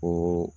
O